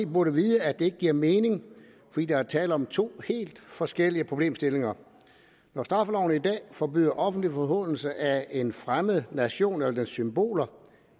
burde vide at det ikke giver mening fordi der er tale om to helt forskellige problemstillinger når straffeloven i dag forbyder offentlig forhånelse af en fremmed nation eller dens symboler